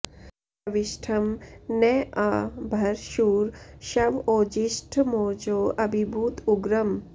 शवि॑ष्ठं न॒ आ भ॑र शूर॒ शव॒ ओजि॑ष्ठ॒मोजो॑ अभिभूत उ॒ग्रम्